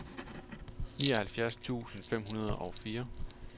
nioghalvfjerds tusind fem hundrede og fire